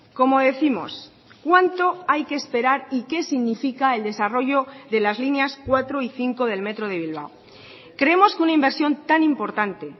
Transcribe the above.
como décimos cuánto hay que esperar y qué significa el desarrollo de las líneas cuatro y cinco del metro de bilbao creemos que una inversión tan importante